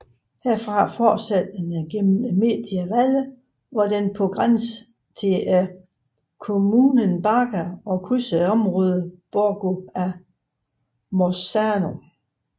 Herfra fortsætter den igennem Media Valle hvor den npr grænsen til Comunen Barga og krydser området Borgo a Mozzano